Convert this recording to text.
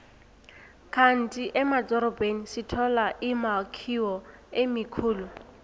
kandi emadorobheni sithola imakhiwo emikhulu